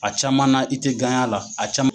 A caman na i tɛ a la a caman